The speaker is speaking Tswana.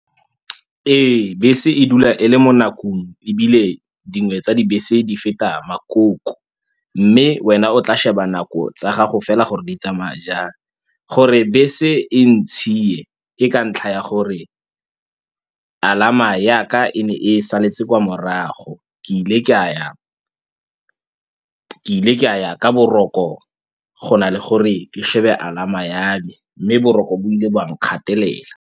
Ee, bese e dula e le mo nakong ebile dingwe tsa dibese di feta makoko, mme wena o tla sheba nako tsa gago fela gore di tsamaya jang. Gore bese e ntshi e ke ka ntlha ya gore alarm-a ya ka e ne e saletse kwa morago ke ile ke a ya ka boroko go na le gore ke shebe alarm-a ya me, mme boroko bo ile ba nkgatelela.